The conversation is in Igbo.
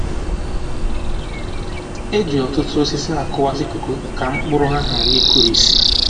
E ji òtútù osisi a kụwasị koko ka mkpụrụ ya ghara i kurisi